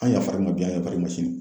An yafara i ma bi an yafalr'i ma sini.